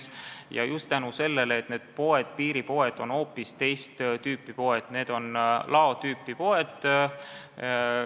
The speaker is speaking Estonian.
See on juhtunud just tänu sellele, et need piiripoed on hoopis teist tüüpi, need on laopoed.